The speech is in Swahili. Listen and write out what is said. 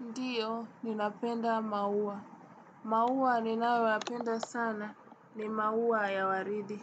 Ndiyo, ninapenda maua. Maua ninayoyapenda sana, ni maua ya waridi.